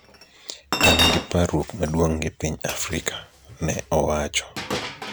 "angi parruok maduong gi piny Afrika" ne owacho